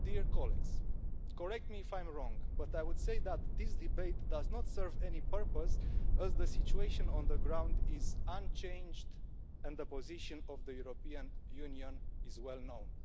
Colleagues, correct me if I'm wrong, but I would say that this debate does not serve any purpose, as the situation on the ground is unchanged and the position of the European Union is well known.